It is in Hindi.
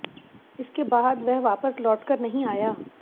इसके बाद वह वापस लौट कर नहीं आया